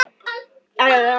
Lárus tók á móti þeim.